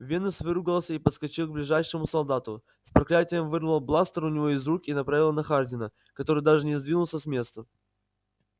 венус выругался и подскочил к ближайшему солдату с проклятием вырвал бластер у него из руки и направил на хардина который даже не сдвинулся с места